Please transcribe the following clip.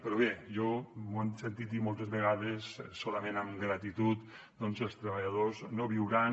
però bé m’ho han sentit dir moltes vegades solament amb gratitud doncs els treballadors no viuran